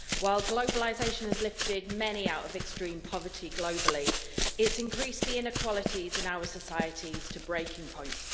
While globalisation has lifted many out of extreme poverty globally, it has increased the inequalities in our societies to breaking point.